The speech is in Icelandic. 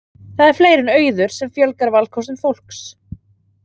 Það er fleira en auður sem fjölgar valkostum fólks.